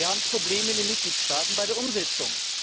Wir haben Probleme in den Mitgliedstaaten bei der Umsetzung.